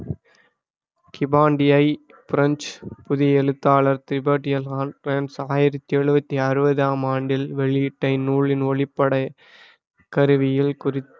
கிமாண்டியை French புதிய எழுத்தாளர் டிபடியலான் ஆயிரத்தி எழுவத்தி அறுவதாம் ஆண்டில் வெளியிட்ட இந்நூலின் ஒளிப்பட கருவியில் குறி~